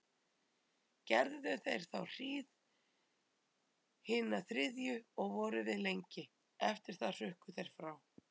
Gerðu þeir þá hríð hina þriðju og voru við lengi, eftir það hrukku þeir frá.